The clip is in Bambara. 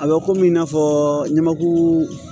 A bɛ komi i n'a fɔ ɲamankuru